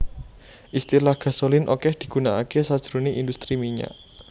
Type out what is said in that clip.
Istilah Gasolin okeh digunakaké sajroné industri minyak